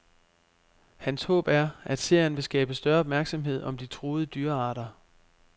Hans håb er, at serien vil skabe større opmærksomhed om de truede dyrearter.